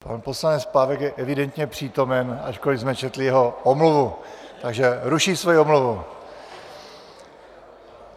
Pan poslanec Pávek je evidentně přítomen, ačkoliv jsme četli jeho omluvu, takže ruší svoji omluvu.